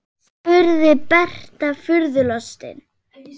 spurði Berta furðu lostin.